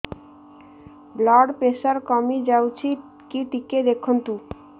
blood pressure କମି ଯାଉଛି କି ଟିକେ ଦେଖନ୍ତୁ